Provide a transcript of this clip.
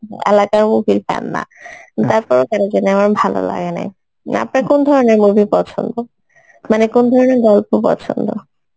আলাদা movie র fan না ভালো লাগে না আপনার কোন ধরনের movie পছন্দ? মানে কোন ধরনের গল্প পছন্দ?